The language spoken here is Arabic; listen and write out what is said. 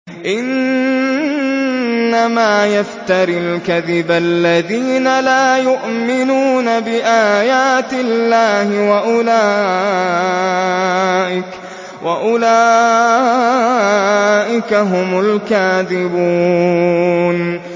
إِنَّمَا يَفْتَرِي الْكَذِبَ الَّذِينَ لَا يُؤْمِنُونَ بِآيَاتِ اللَّهِ ۖ وَأُولَٰئِكَ هُمُ الْكَاذِبُونَ